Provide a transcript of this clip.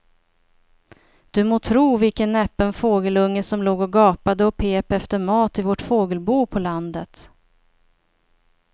Du må tro vilken näpen fågelunge som låg och gapade och pep efter mat i vårt fågelbo på landet.